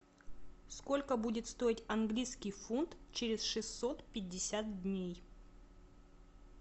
сколько будет стоить английский фунт через шестьсот пятьдесят дней